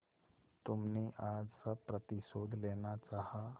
तुमने आज सब प्रतिशोध लेना चाहा